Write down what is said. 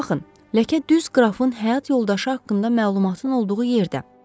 Baxın, ləkə düz qrafın həyat yoldaşı haqqında məlumatın olduğu yerdədir.